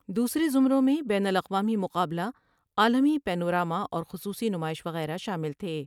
دوسرے زمروں میں بین الاقوامی مقابلہ عالمی پینو را م اور خصوصی نمائش وغیرہ شامل تھے ۔